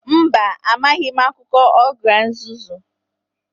Mba, amaghị m akụkọ ogre nzuzu